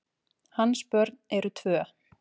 Hans börn eru tvö.